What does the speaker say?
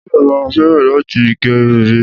Èmi náà máa fẹ́ràn láti gẹ irun mi